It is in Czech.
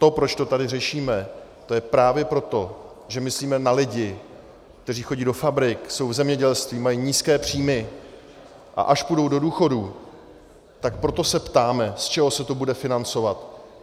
To, proč to tady řešíme, to je právě proto, že myslíme na lidi, kteří chodí do fabrik, jsou v zemědělství, mají nízké příjmy, a až půjdou do důchodu, tak proto se ptáme, z čeho se to bude financovat.